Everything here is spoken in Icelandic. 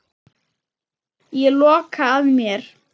Ég loka að mér.